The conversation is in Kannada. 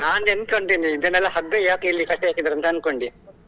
ನಾನು ಎಂತ ಅಂತ ಇದೆನೆಲ್ಲಾ ಹಗ್ಗ ಯಾಕೆ ಇಲ್ಲಿ ಕಟ್ಟಿ ಹಾಕಿದರೆ ಅಂತ ಅನ್ಕೊಂಡೆ.